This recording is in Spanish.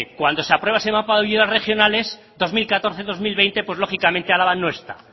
cuando se aprueba ese mapa de ayudas regionales dos mil catorce dos mil veinte pues lógicamente álava no está